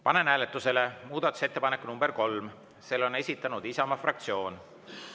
Panen hääletusele muudatusettepaneku nr 3, mille on esitanud Isamaa fraktsioon.